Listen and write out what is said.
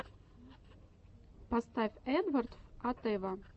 поставь эдвардв атэва